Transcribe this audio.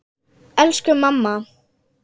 Elsku mamma!